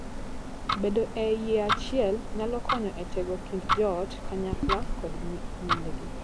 Bedo e yie achiel nyalo konyo e tego kind joot kanyakla kod nyindgi.